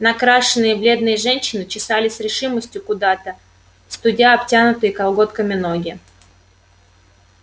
накрашенные бледные женщины чесали с решимостью куда-то студя обтянутые колготками ноги